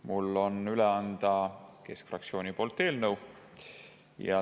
Mul on üle anda eelnõu keskfraktsiooni poolt.